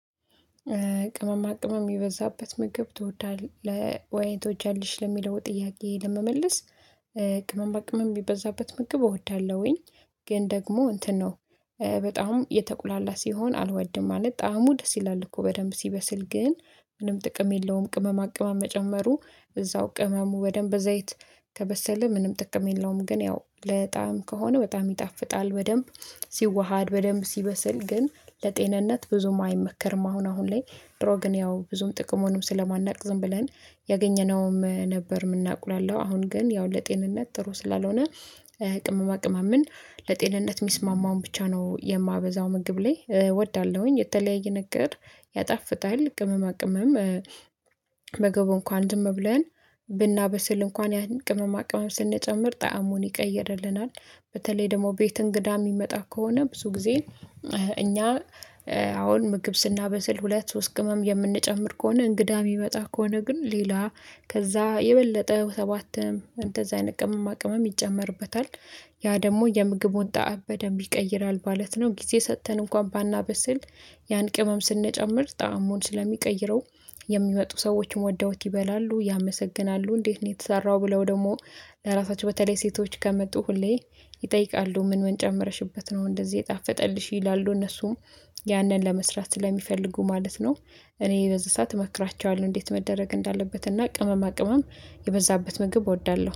ቅመማ ቅመም የበዛበት ምግብ ትወዳለህ ወይ ትወጃለሽ ለሚለው ጥያቄ ለመመለስ? ቅመም በቅመም የሚበዛበት ምግብ እወዳለሁኝ። ግን ደግሞ እንትን ነው። በጣም የተቁላላ ሲሆን አልወድም ማለት ጣዕሙ ደስ ይላል እኮ በደንብ ሲበስል ግን ምንም ጥቅም የለውም ቅመማ ቅመማ መጨመሩ እዛው ቅመሙ በደንብ ዘይት ከበሰለ ምንም ጥቅም የለውም። ግን ያው ለጣም ከሆነ በጣም ይጣፍጣል በደንብ ሲዋሃድ በደንብ ሲበስል ግን ለጤንነት ብዙም አይመከርም። አሁን አሁን ላይ ድሮ ግን ያው ብዙም ጥቅሙንም ስለማናውቅ ዝም ብለን ያገኘነውም ነበር የምናቁላላው አሁን ግን ያው ለጤንነት ጥሩ ስላልሆነ። ቅመማ ቅመማ ምን ለጤንነት የሚስማማውን ብቻ ነው የማበዛው ምግብ ላይ እወዳለሁኝ የተለያየ ነገር ያጣፍታል ቅመማ ቅመም። ምግብ እንኳን ዝም ብለን ብናበስል እንኳን ያን ቅመማ ቅመም ስንጨምር ጣዕሙን ይቀይርልናል። በተለይ ደግሞ ቤት እንግዳ የሚመጣ ከሆነ ብዙ ጊዜ እኛ አሁን ምግብ ስናበስል ሁለት ሶስት ቅመም የምንጨምር ከሆነ እንግዳ የሚመጣ ከሆነ ግን ሌላ ከዛ የበለጠው ሰባትም እንደዛ አይነት ቅመማ ቅመም ይጨመርበታል ያ ደግሞ የምግቡን ጣዕም በደንብ ይቀይራል ማለት ነው። ጊዜ ሰጥተን እንኳን ባናበስል ያን ቅመም ስንጨምር ጣዕሙን ስለሚቀይረው። የሚመጡ ሰዎችን ወደውት ይበላሉ ያመሰግናሉ እንዴት ነው የተሰራው ብለው? ደግሞ ለራሳቸው በተለይ ሴቶች ከመጡ ሁሌ ይጠይቃሉ ምን ምን ጨምረሽበት ነው እንደዚህ የጣፈጠልሽ ይላሉ? እነሱም ያንን ለመስራት ስለሚፈልጉ ማለት ነው። እኔ በዚህ ሰዓት እመክራቸዋለሁ እንዴት መደረግ እንዳለበት እና ቅመማ ቅመም የበዛበት ምግብ እወዳለሁ